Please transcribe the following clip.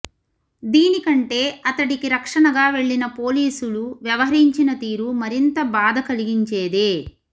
దీని కంటే అతడికి రక్షణగా వెళ్లిన పోలీసులు వ్యవహరించిన తీరు మరింత బాధ కలిగించేదే